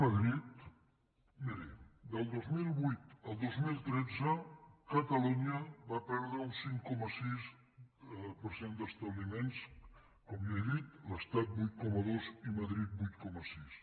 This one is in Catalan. miri del dos mil vuit al dos mil tretze catalunya va perdre un cinc coma sis per cent d’establiments com ja he dit l’estat vuit coma dos i madrid vuit coma sis